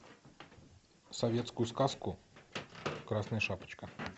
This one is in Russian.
советскую сказку красная шапочка